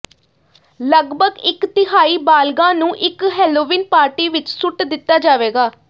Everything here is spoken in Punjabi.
ਲਗਭਗ ਇੱਕ ਤਿਹਾਈ ਬਾਲਗਾਂ ਨੂੰ ਇੱਕ ਹੇਲੋਵੀਨ ਪਾਰਟੀ ਵਿੱਚ ਸੁੱਟ ਦਿੱਤਾ ਜਾਵੇਗਾ